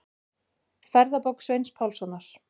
Ferðabók Sveins Pálssonar.